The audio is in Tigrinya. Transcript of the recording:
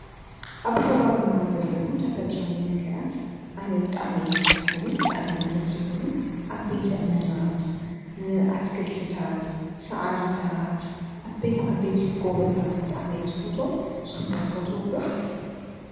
ኣብ ከባቢና ዘለኹ ተፈጥራዊ ነገራት ኣነ ብጣሜየም ስሕቡኒ ብጣም እየም ደስብሉኒ ኣቤቲ እመናት ኣትገልትታት ሠዓርታት ኣቤት ዓበት ይጐበታት ብጣዕሜ ዝፈትዎም ስንገትፈትዎምዶ?